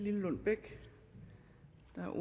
her